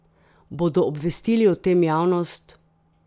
Bodo obvestili o tem javnost?